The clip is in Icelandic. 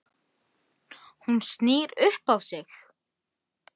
Hún snýr upp á sig.